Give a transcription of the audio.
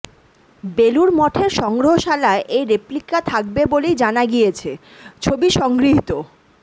বেলুড় মঠের সংগ্রহশালায় এই রেপ্লিকা থাকবে বলেই জানা গিয়েছে ছবি সংগৃহীত